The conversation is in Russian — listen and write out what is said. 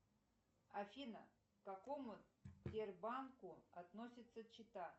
афина к какому сбербанку относится чита